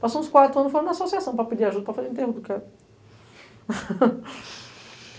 Passaram uns quatro anos, foram na associação para pedir ajuda, para fazer o enterro do cara.